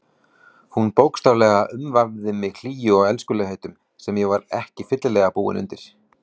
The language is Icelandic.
Hún bókstaflega umvafði mig hlýju og elskulegheitum sem ég var ekki fyllilega búinn undir.